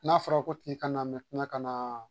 N'a fɔra k'o tigi ka na ka na